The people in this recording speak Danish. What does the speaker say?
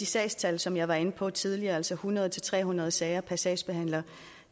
sagstal som jeg var inde på tidligere altså de hundrede til tredive nul sager per sagsbehandler